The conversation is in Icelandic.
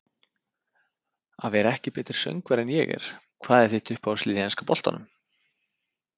Að vera ekki betri söngvari en ég er Hvað er þitt uppáhaldslið í enska boltanum?